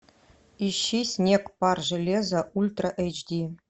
ищи снег пар железо ультра эйч ди